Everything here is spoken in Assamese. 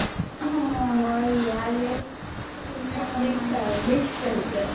অ মই ইয়াৰে চব mix আৰ চব mix culture